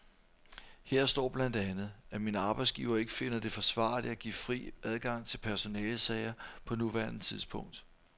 Her står blandt andet, at min arbejdsgiver ikke finder det forsvarligt at give fri adgang til personalesager på nuværende tidspunkt.